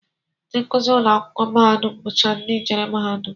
Ndị nkụzi ụlọakwụkwọ mahadum bụcha ndị jere mahadum